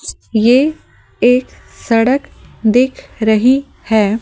ये एक सड़क दिख रही है ।